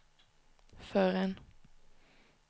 förrän